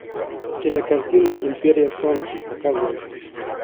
кинокартина империя солнца показывай